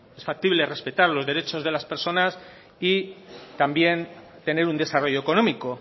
es factible respetar los derechos de las personas y también tener un desarrollo económico